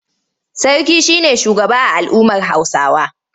Sarki shi ne shugaba a al'ummar Hausawa.